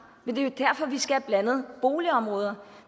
men det er jo derfor vi skal have blandede boligområder